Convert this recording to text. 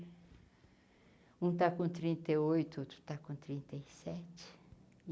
Um está com trinta e oito, o outro está com trinta e sete.